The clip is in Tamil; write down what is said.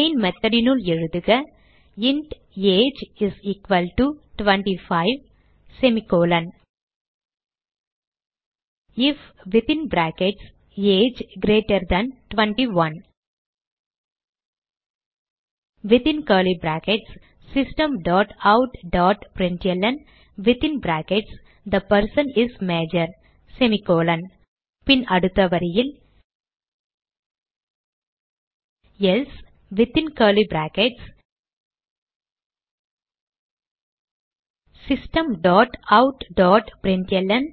மெயின் method னுள் எழுதுக int age is equal to 25 if within brackets age greater than 21 within curly brackets system dot out dot println within brackets the person is major பின் அடுத்த வரியில் else within curly brackets system dot out dot println